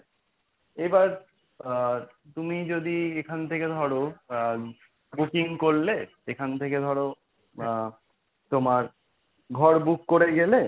এবার আ তুমি যদি এখান থেকে ধরো আ booking করলে এখান থেকে ধরো আ তোমার ঘর book করে গেলে,